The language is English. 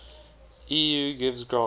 eu gives grants